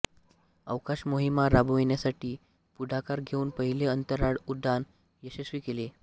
अवकाश मोहिमा राबवण्यासाठी पुढाकार घेऊन पहिले अंतराळउड्डाण यशस्वी केले